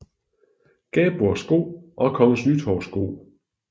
Gabor Sko og Kgs Nytorv sko